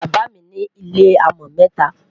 bàbá mí ní ilẹ amo meta